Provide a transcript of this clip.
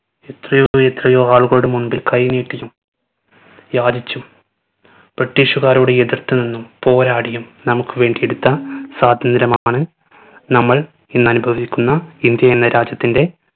എത്രയോ എത്രയോ ആളുകളുടെ മുൻപിൽ കൈനീട്ടിയും യാചിച്ചും british കാരോട് എതിർത്ത് നിന്നും പോരാടിയും നമ്മുക്ക് വേണ്ടി എടുത്ത സ്വാതന്ത്യ്രമാണ് നമ്മൾ ഇന്ന് അനുഭവിക്കുന്ന ഇന്ത്യ എന്ന രാജ്യത്തിന്റെ